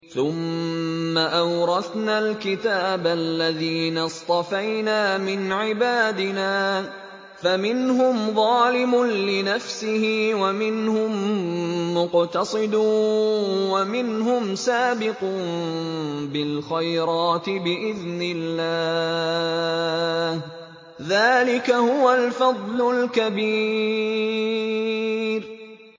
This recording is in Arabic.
ثُمَّ أَوْرَثْنَا الْكِتَابَ الَّذِينَ اصْطَفَيْنَا مِنْ عِبَادِنَا ۖ فَمِنْهُمْ ظَالِمٌ لِّنَفْسِهِ وَمِنْهُم مُّقْتَصِدٌ وَمِنْهُمْ سَابِقٌ بِالْخَيْرَاتِ بِإِذْنِ اللَّهِ ۚ ذَٰلِكَ هُوَ الْفَضْلُ الْكَبِيرُ